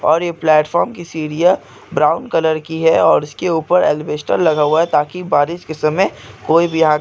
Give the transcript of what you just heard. platform की सीढ़ियां brown colour की है और उसके ऊपर अल्बेस्टर लगा हुआ है ताकि बारिश--